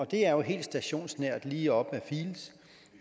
det er jo helt stationsnært lige op